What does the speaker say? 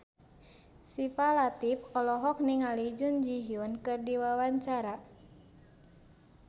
Syifa Latief olohok ningali Jun Ji Hyun keur diwawancara